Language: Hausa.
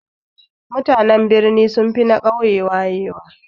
Mutanen birni sunfi na ƙauye wayewa